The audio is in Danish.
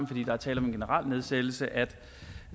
fordi der er tale om en generel nedsættelse at